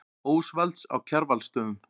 Ósvalds á Kjarvalsstöðum.